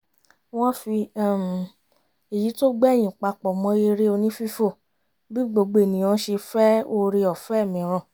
wọ́n fi um èyí tó gbẹ̀yìn papọ̀ mọ́ eré onífífò bí gbogbo ènìyàn ṣe fẹ́ oore ọ̀fẹ́ mìíràn